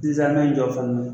jɔ fana